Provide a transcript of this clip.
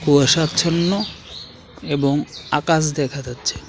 কুয়াশাচ্ছন্ন এবং আকাশ দেখা যাচ্ছে।